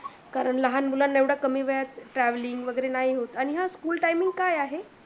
कारण लहान मुलांना एवढा कमी वेळ travelling वगैरे नाही होत आणि ह school timing काय आहे?